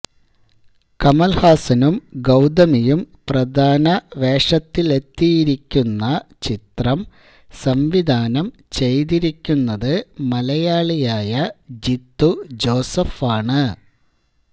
കമല്ഹാസനും ഗൌതമിയും പ്രധാന വേഷത്തിലെത്തിയിരിക്കുന്ന ചിത്രം സംവിധാനം ചെയ്തിരിക്കുന്നത് മലയാളിയായ ജീത്തു ജോസഫാണ്